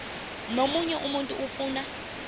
nomunye umuntu ofuna